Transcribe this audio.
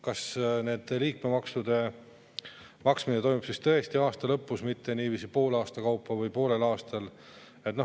Kas liikmemaksude maksmine toimub siis tõesti aasta lõpus, mitte poole aasta kaupa?